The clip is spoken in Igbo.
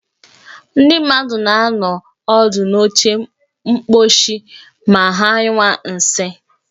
Ndị mmadụ na-anọ ọdụ n'oche mkposhi ma ha nyụwa nsị